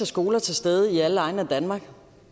skoler til stede i alle egne af danmark